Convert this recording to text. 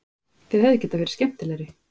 Þeir hefðu getað verið skemmtilegri